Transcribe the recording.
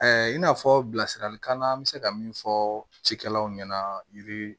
in n'a fɔ bilasiralikan bɛ se ka min fɔ cikɛlaw ɲɛna yiri